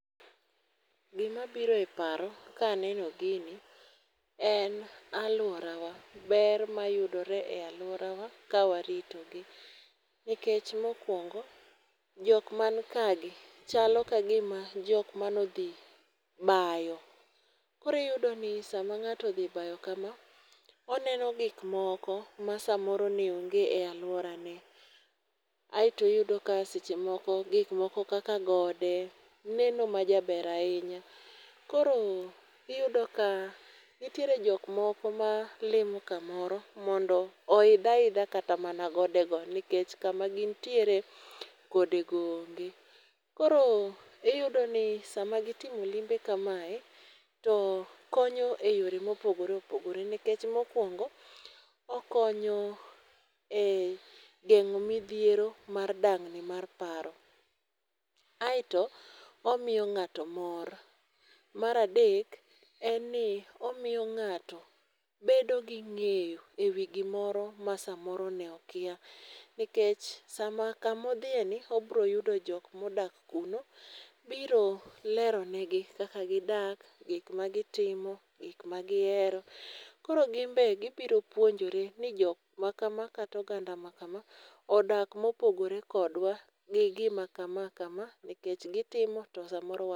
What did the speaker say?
Gima biro eparo, ka aneno gini, en alworawa. Ber mayudore e alworawa kawaritogi. Nikech mokwongo, jok man ka gi chalo ka gima jok manodhi bayo. Koro iyudo ni sama ng'ato odhi bayo kama, oneno gikmoko ma samoro ne onge e alworane. Aeto iyudo ka seche moko, gikmoko kaka gode, neno ma jaber ahinya. Koro iyudo ka, nitiere jok moko ma limo kamoro, mondo oidh aidha kata mana godego. Nikech kama gintiere godego onge. Koro iyudo ni sama gitimo limbe kamae, to konyo e yore mopogore opogore. Nikech mokwongo, okonyo e geng'o midhiero mar dang'ni mar paro. Aeto omiyo ng'ato mor. Mar adek, en ni omiyo ng'ato bedo gi ng'eyo ewi gimoro ma samoro ne okia. Nikech sama, kamodhieni obro yudo jok modak kuno, biro lero negi kaka gidak, gikma gitimo, gikma gihero. Koro gin be gibiro puonjre ni jok ma kama kata oganda ma kama, odak mopogore kodwa gi gima kama kama, nikech gitimo to samoro wa.